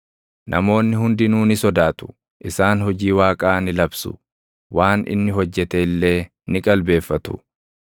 Namoonni hundinuu ni sodaatu; isaan hojii Waaqaa ni labsu; waan inni hojjete illee ni qalbeeffatu.